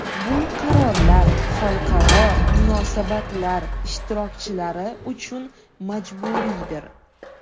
Bu qarorlar xalqaro munosabatlar ishtirokchilari uchun majburiydir.